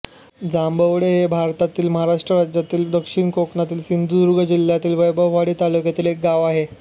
जांभवडे हे भारतातील महाराष्ट्र राज्यातील दक्षिण कोकणातील सिंधुदुर्ग जिल्ह्यातील वैभववाडी तालुक्यातील एक गाव आहे